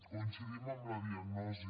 coincidim amb la diagnosi